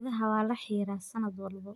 Idaha waa la xiiraa sanad walba.